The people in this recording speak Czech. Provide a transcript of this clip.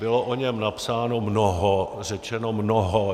Bylo o něm napsáno mnoho, řečeno mnoho.